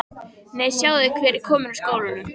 Nei, sjáiði hver er kominn úr skólanum